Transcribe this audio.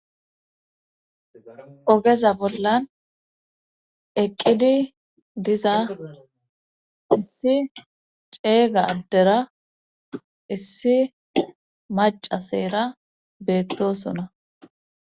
Ogeza bollan eqqidi diza issi ceega addera issi maca seera beettosuna.